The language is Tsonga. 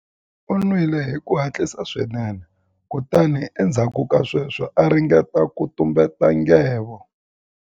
U nwile hi ku hatlisa swinene kutani endzhaku ka sweswo a ringeta ku tumbeta nghevo.